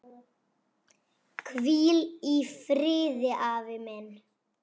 Hvíl í friði afi minn.